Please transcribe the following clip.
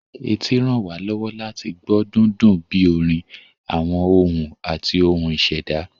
Etí ràn wá lọ́wọ́ láti gbọ́ dúndún bíi orin, àwọn ohùn, àti ohun ìṣẹ̀dá